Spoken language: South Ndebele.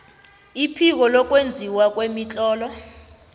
iphiko lokwenziwa kwemitlolo